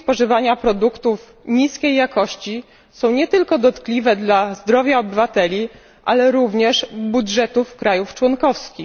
Skutki spożywania produktów niskiej jakości są nie tylko dotkliwe dla zdrowia obywateli, ale również dla budżetów krajów członkowskich.